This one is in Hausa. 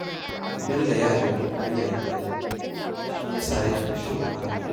Bello ya ɗauki duniya da zafi, shi ya sa yake shan wahala